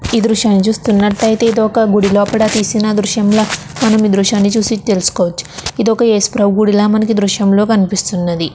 దృశ్యాన్ని చూస్తున్నట్లయితే ఇది ఒక గుడి లోపల తీసిన దృశ్యంలా మనము ఈ దృశ్యాన్ని చూసి తెలుసుకోవచ్చు. ఇది ఒక ఏసుప్రభు గుడిలా మనకి ఈ దృశ్యంలోని కనిపిస్తున్నది.